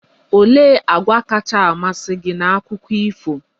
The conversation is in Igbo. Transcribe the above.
Olee àgwà kacha amasị gị na Akụkọ ifo?